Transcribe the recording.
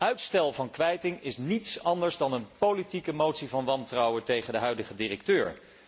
Uitstel van kwijting is niets anders dan een politieke motie van wantrouwen tegen de huidige directeur.